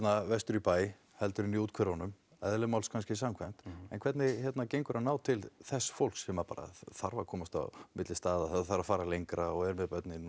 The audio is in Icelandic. vestur í bæ heldur en í úthverfunum eðli máls kannski samkvæmt en hvernig gengur að ná til þess fólks sem þarf að komast á milli staða sem þarf að fara lengra og er með börnin